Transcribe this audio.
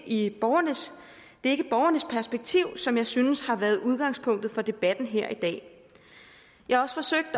ikke borgernes perspektiv som jeg synes har været udgangspunktet for debatten her i dag jeg har også forsøgt